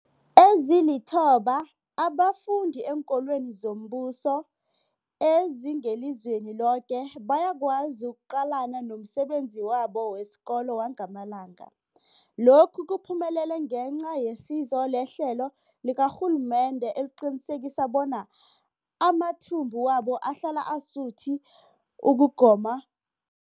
Ezilithoba abafunda eenkolweni zombuso ezingelizweni loke bayakwazi ukuqalana nomsebenzi wabo wesikolo wangamalanga. Lokhu kuphumelele ngenca yesizo lehlelo likarhulumende eliqinisekisa bona amathumbu wabo ahlala asuthi ukugoma